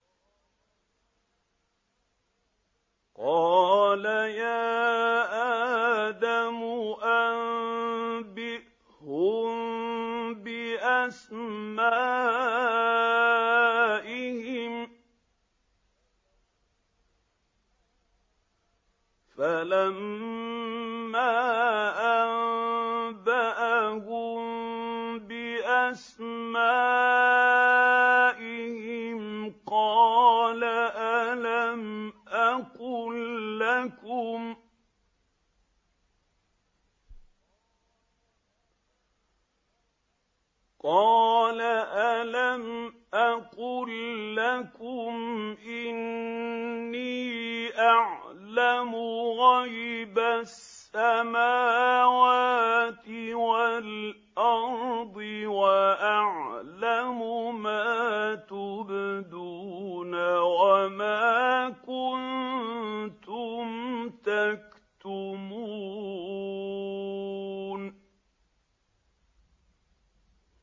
قَالَ يَا آدَمُ أَنبِئْهُم بِأَسْمَائِهِمْ ۖ فَلَمَّا أَنبَأَهُم بِأَسْمَائِهِمْ قَالَ أَلَمْ أَقُل لَّكُمْ إِنِّي أَعْلَمُ غَيْبَ السَّمَاوَاتِ وَالْأَرْضِ وَأَعْلَمُ مَا تُبْدُونَ وَمَا كُنتُمْ تَكْتُمُونَ